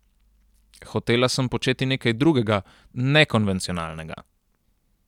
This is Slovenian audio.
Hotela sem početi nekaj drugega, nekonvencionalnega.